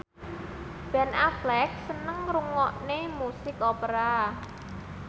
Ben Affleck seneng ngrungokne musik opera